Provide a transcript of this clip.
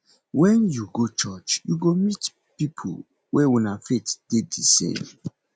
wen yu go church yu go meet pipo wey una faith dey de same